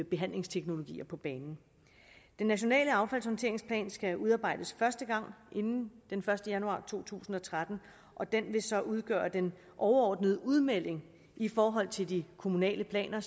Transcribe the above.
behandlingsteknologier på banen den nationale affaldshåndteringsplan skal udarbejdes inden den første januar to tusind og tretten og den vil så udgøre den overordnede udmelding i forhold til de kommunale planer